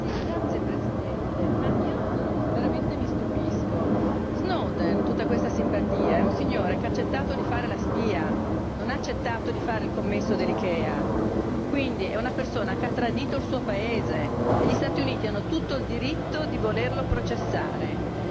Signor Presidente, onorevoli colleghi, io veramente mi stupisco di tutta questa simpatia per Snowden, che è un signore che ha accettato di fare la spia, non ha accettato di fare il commesso dell'Ikea. Quindi è una persona che ha tradito il suo paese e gli Stati Uniti hanno tutto il diritto di volerlo processare.